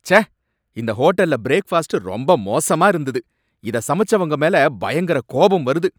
ச்சே! இந்த ஹோட்டல்ல ப்ரேக்ஃபாஸ்ட் ரொம்ப மோசமா இருந்தது, இத சமைச்சவங்க மேல பயங்கர கோபம் வருது .